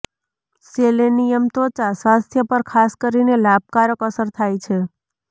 selenium ત્વચા સ્વાસ્થ્ય પર ખાસ કરીને લાભકારક અસર થાય છે